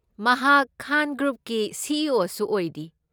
ꯃꯍꯥꯛ ꯈꯥꯟ ꯒ꯭ꯔꯨꯞꯀꯤ C. E. O. ꯁꯨ ꯑꯣꯏꯔꯤ꯫